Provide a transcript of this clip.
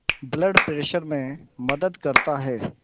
blood pressure में मदद करता है